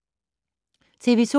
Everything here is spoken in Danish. TV 2